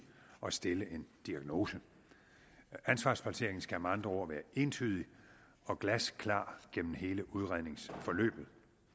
og stille en diagnose ansvarsplacering skal med andre ord være entydig og glasklar gennem hele udredningsforløbet